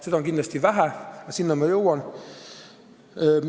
Seda on kindlasti vähe, aga selleni ma veel jõuan.